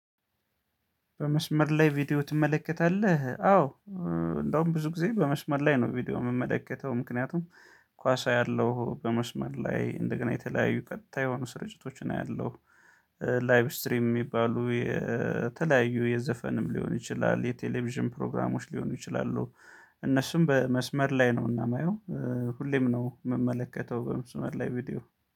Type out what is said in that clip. በመስመር ላይ ቪዲዮ ትመለከታለህ? አዎ። እንደውም ብዙ ጊዜ በመስመር ላይ ነው ቪዲዮ የምመለከተው ምክንያቱም ኳስ አያለሁ በመስመር ላይ እንደገና የተለያዩ ቀጥታ የሆኑ ስርጭቶችን አያለሁ። ላይብ ስትሪም የሚባሉ የተለያዩ የዘፈንም ሊሆን ይችላል የቴሌቪዥን ፕሮግራሞች ሊሆኑ ይችላሉ። እነሱም በመስመር ላይ ነው እና የማየው። ሁሌም ነው የምመለከተው በመስመር ላይ ቪዲዮ